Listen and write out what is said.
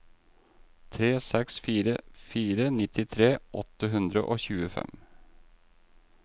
tre seks fire fire nittitre åtte hundre og tjuefem